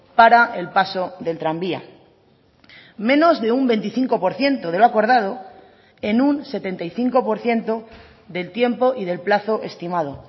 para el paso del tranvía menos de un veinticinco por ciento de lo acordado en un setenta y cinco por ciento del tiempo y del plazo estimado